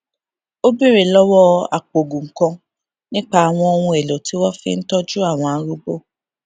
ó béèrè lówó apòògùn kan nípa àwọn ohunèlò tí wón fi ń tójú àwọn arúgbó